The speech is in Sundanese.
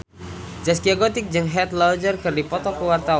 Zaskia Gotik jeung Heath Ledger keur dipoto ku wartawan